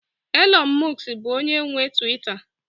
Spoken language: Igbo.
Elon musk bụ onye nwe Tuweeta